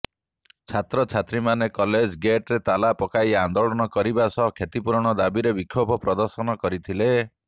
ଛାତ୍ରଛାତ୍ରୀମାନେ କଲେଜ ଗେଟରେ ତାଲା ପକାଇ ଆନ୍ଦୋଳନ କରିବା ସହ କ୍ଷତିପୂରଣ ଦାବିରେ ବିକ୍ଷୋଭ ପ୍ରଦର୍ଶନ କରିଥିଲେ